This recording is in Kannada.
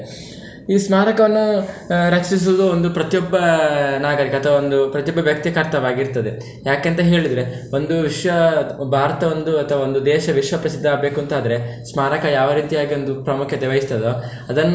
ಈ ಸ್ಮಾರಕವನ್ನು ರಕ್ಷಿಸುದು ಒಂದು ಪ್ರತಿ ಒಬ್ಬ ನಾಗರಿಕತೆ ಒಂದು ಪ್ರತಿಯೊಬ್ಬ ವ್ಯಕ್ತಿಯ ಕರ್ತವ್ಯವಾಗಿರ್ತದೆ. ಯಾಕೆ ಅಂತ ಹೇಳಿದ್ರೆ ಒಂದು ವಿಶ್ವ, ಭಾರತ ಒಂದು ಅಥವಾ ಒಂದು ದೇಶ ವಿಶ್ವ ಪ್ರಸಿದ್ಧ ಆಗ್ಬೇಕು ಅಂತಾದ್ರೆ ಸ್ಮಾರಕ ಯಾವ ರೀತಿಯಾಗಿ ಒಂದು ಪ್ರಾಮುಖ್ಯತೆ ವಹಿಸ್ತದೋ ಅದನ್ನು.